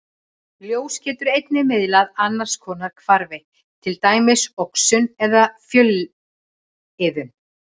Ljós getur einnig miðlað annars konar hvarfi, til dæmis oxun eða fjölliðun.